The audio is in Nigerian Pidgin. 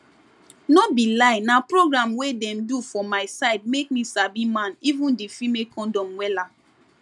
no be lie na program wey dem do for my side make me sabi man even di female condom wella